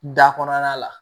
Da kɔnɔna la